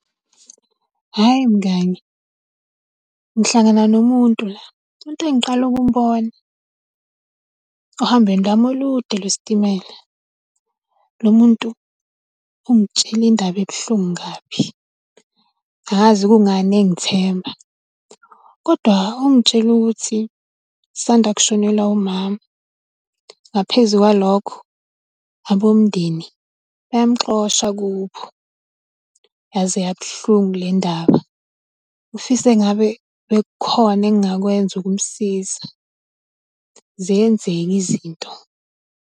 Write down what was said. Hhayi mngani, ngihlangana nomuntu la, umuntu engiqala ukumbona, ohambweni lami olude lwesitimela. Lo muntu ungitshela indaba ebuhlungu kabi, angazi kungani engithemba, kodwa ungitshele ukuthi usanda kushonelwa umama, ngaphezu kwalokho abomndeni bayamuxosha kubo. Yaze yabuhlungu le ndaba, ufise ngabe bekukhona engingakwenza ukumsiza. Ziyenzeka izinto.